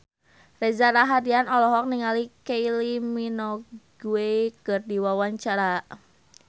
Reza Rahardian olohok ningali Kylie Minogue keur diwawancara